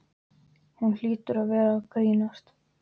Hún hlýtur að vera að grínast.